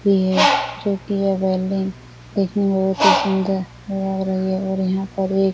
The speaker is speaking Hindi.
भी है जो कि यह बिल्डिंग देखने में बहुत ही सुंदर लग रही है और यहां पर एक --